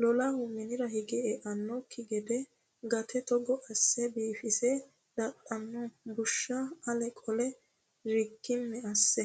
lolahu minira hige eanokki gedeno gaata togo asse biifise dadhano busha ale qole rikki'mi asse.